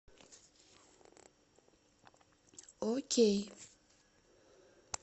окей